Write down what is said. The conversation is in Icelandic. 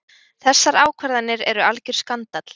Þessar ákvarðanir eru algjör skandall.